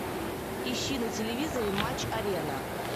ищи на телевизоре матч арена